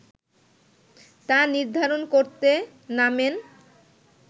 তা নির্ধারণ করতে নামেন